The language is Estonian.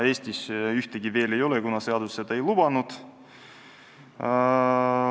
Eestis ühtegi veel ei ole, kuna seadus ei ole seda lubanud.